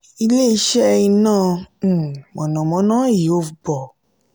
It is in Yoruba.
ile-iṣẹ iná um mọ̀nàmọ́ná ihovbor